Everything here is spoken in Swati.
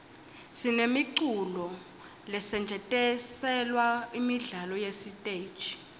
sinemiculo lesetjentiselwa imidlalo yesiteji